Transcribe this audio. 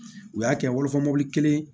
U y'a kɛ wolofa mɔbili kelen